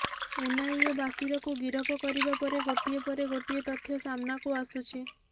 NIA ବାସିରକୁ ଗିରଫ କରିବା ପରେ ଗୋଟିଏ ପରେ ଗୋଟିଏ ତଥ୍ୟ ସାମ୍ନାକୁ ଆସୁଛି